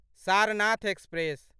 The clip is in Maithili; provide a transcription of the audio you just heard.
सारनाथ एक्सप्रेस